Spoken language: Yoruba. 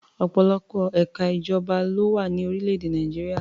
Ọ̀pọ̀lọpọ̀ ẹ̀ka ìjọba ló wà ní orílẹ̀-èdè Nàìjíríà.